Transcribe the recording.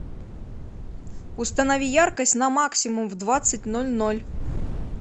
установи яркость на максимум в двадцать ноль ноль